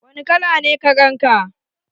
Wani kala ne karen ka?